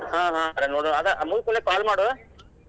ಹಾ ಹಾ ಅದ್ ಮುಗ್ದಕುಳೆ call ಮಾಡು.